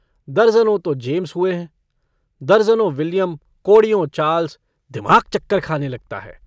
दरजनों तो जेम्स हुए हैं दरजनों विलियम कोड़ियों चार्ल्स दिमाग चक्कर खाने लगता है।